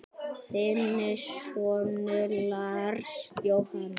Þinn sonur, Lars Jóhann.